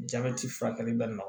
Jabɛti furakɛli bɛ nɔgɔ